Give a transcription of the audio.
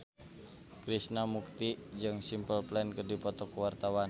Krishna Mukti jeung Simple Plan keur dipoto ku wartawan